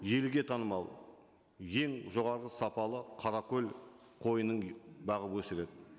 елге танымал ең жоғарғы сапалы қаракөл қойын бағып өсіреді